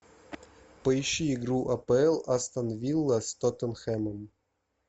поищи игру апл астон вилла с тоттенхэмом